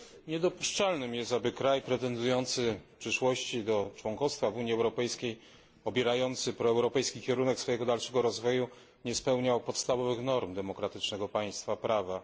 Niedopuszczalnym jest, aby kraj pretendujący w przyszłości do członkostwa w Unii Europejskiej, obierający proeuropejski kierunek swojego dalszego rozwoju, nie spełniał podstawowych norm demokratycznego państwa prawa.